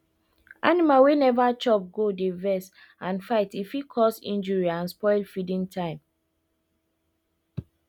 animal wey neva chopgo dey vex and fight e fit cause injury and spoil feeding time